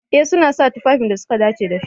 Eh suna sa tufafin da suka dace da fim.